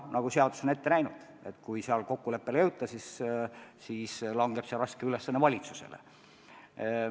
Aga seadus on ette näinud, et kui kokkuleppele ei jõuta, siis langeb see raske ülesanne valitsusele.